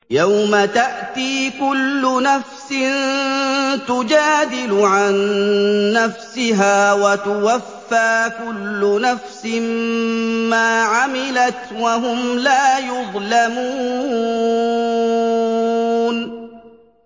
۞ يَوْمَ تَأْتِي كُلُّ نَفْسٍ تُجَادِلُ عَن نَّفْسِهَا وَتُوَفَّىٰ كُلُّ نَفْسٍ مَّا عَمِلَتْ وَهُمْ لَا يُظْلَمُونَ